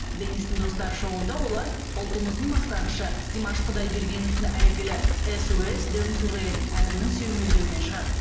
денистің достары шоуында олар ұлтымыздың мақтанышы димаш құдайбергеновтің әйгілі эс о эс дэн терриен әнінің сүйемелдеуімен шығады